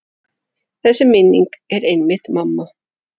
Þessi minning er einmitt mamma.